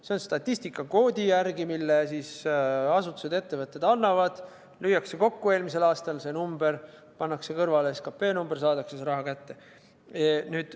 See on statistikakoodi järgi, mille asutused-ettevõtted annavad: lüüakse kokku eelmise aasta number, pannakse kõrvale SKP number ja saadaksegi raha kätte.